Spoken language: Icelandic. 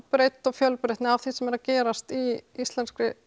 breidd og fjölbreytni í því sem er að gerast í íslenskri